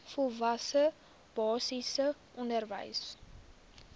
volwasse basiese onderwys